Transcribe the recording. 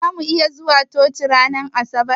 Zamu iya zuwa coci ran asabar?